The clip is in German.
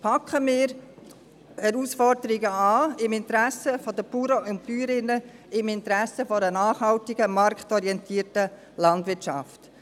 Packen wir die Herausforderung an, im Interesse der Bauern und Bäuerinnen, im Interesse einer nachhaltigen marktorientierten Landwirtschaft!